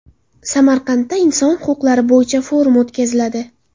Samarqandda inson huquqlari bo‘yicha forum o‘tkaziladi.